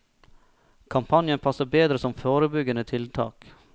Kampanjen passer bedre som forebyggende tiltak.